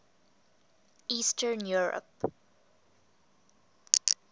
eastern europe